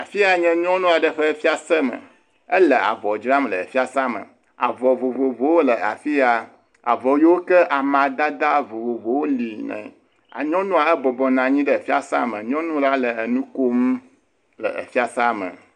Afi ya nye nyɔnu aɖe ƒe fiase me, ele avɔ dzram le fiasea me, avɔ vovovowo le afi ya, avɔ yiwo ke amadede vovovowo li, nyɔnua bɔbɔ nɔ anyi ɖe fiase me, nyɔnu la ele nu kom le fiasea me.